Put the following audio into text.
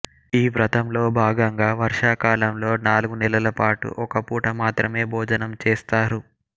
ఈ వ్రతంలో భాగంగా వర్షాకాలంలో నాలుగు నెలలపాటు ఒక పూట మాత్రమే భోజనం చేస్తారు